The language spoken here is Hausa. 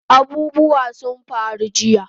Abubuwa sun faru jiya